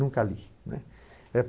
Nunca li, né.